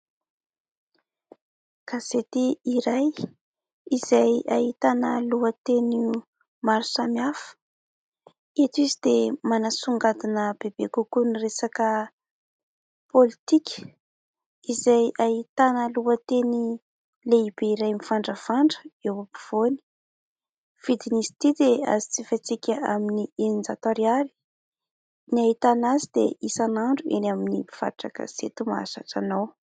Gazety iray izay ahitana lohateny maro samihafa. Eto izy dia manasongadina bebe kokoa ny resaka pôlitika izay ahitana lohateny lehibe iray mivandravandra eo ampovoany. Vidin'izy itỳ dia azo jifaintsika amin'ny eninjato ariary. Ny ahitana azy dia isan'andro, eny amin'ny mpivarotra gazety mahazatra anao